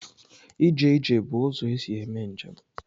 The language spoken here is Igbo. Ije ije bụ ụzọ esi eme njem.